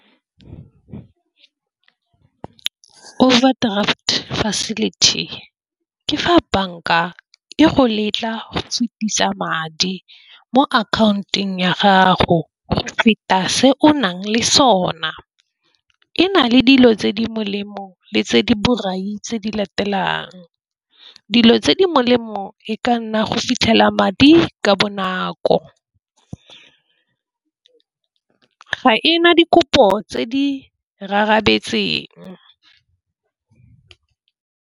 Overdraft facility ke fa banka e go letla sutisa madi mo akhaontong ya gago go feta se o nang le sona. E na le dilo tse di molemo le tse di di latelang. Dilo tse di molemo e ka nna go fitlhela madi ka bonako, ga e na dikopo tse di rarabetseng.